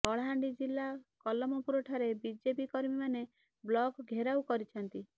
କଳାହାଣ୍ଡି ଜିଲ୍ଲା କଲମପୁରଠାରେ ବିଜେପି କର୍ମୀମାନେ ବ୍ଲକ ଘେରାଉ କରିଛନ୍ତି